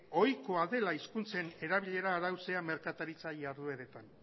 ohikoa dela hizkuntzen erabilera arautzea merkataritza jardueretan